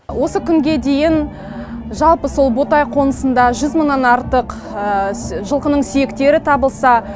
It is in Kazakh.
осы күнге дейін жалпы сол ботай қонысында жүз мыңнан артық жылқының сүйектері табылса